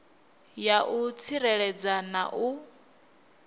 ya u tsireledza na u